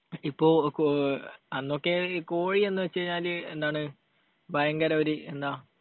ഇപ്പൊ കോ, അന്നൊക്കെ കോഴി എന്നുവെച്ചു കഴിഞ്ഞാൽ എന്താണ്? ഭയങ്കര ഒരു, എന്താ